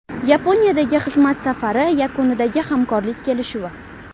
Yaponiyadagi xizmat safari yakunidagi hamkorlik kelishuvi.